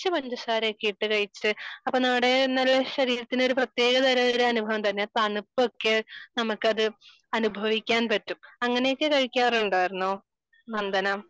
പഞ്ചസാരയൊക്കെ ഇട്ടു കഴിച്ചു അപ്പൊ നമ്മുടെ ശരീരത്തിന് പ്രത്യക തരം ഒരു അനുഭവം തണുപ്പൊക്കെ നമുക്ക് അത് അനുഭവിക്കാൻ പറ്റും അങ്ങനെയൊക്കെ കഴിക്കാറുണ്ടായിരുന്നോ നന്ദന